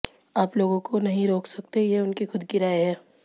आप लोगों को नहीं रोक सकते ये उनकी खुद की राय है